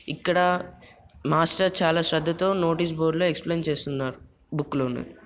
ఇక్కడ మాస్టర్ చాలా శ్త్రద్ధ తో నోటీసు బోర్డు లో ఎక్స్ప్లిన్ చేస్తున్నార్ బుక్ లోనివి.